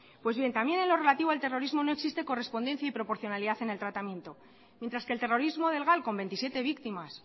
pues también en lo relativo al terrorismo no existe correspondencia y proporcionalidad en el tratamiento mientras el terrorismo del gal con veintisiete víctimas